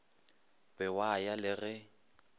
be wa ya le ge